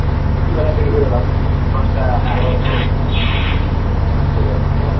একটু বেলার দিকে বেরোলাম দশটা এগারোটা তারপরে চলে এলাম